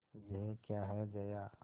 यह क्या है जया